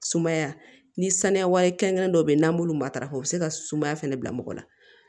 Sumaya ni saniya kɛrɛnkɛrɛnnen dɔ bɛ yen n'an b'olu matarafa u bɛ se ka sumaya fɛnɛ bila mɔgɔ la